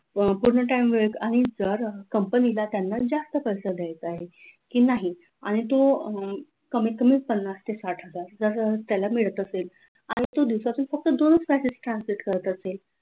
अह पूर्ण time वेळ आणि जर company ला त्यांना जास्त पैसा द्यायचा आहे की नाही आणि तो कमीत कमी पन्नास ते साठ हजार जसं त्याला मिळत असेल आणि तो दिवसातून फक्त दोनच passage translate करत असेल